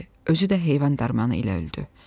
Özü də heyvan dərmanı ilə öldü.